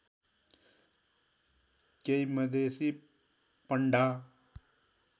केही मधेसी पण्डा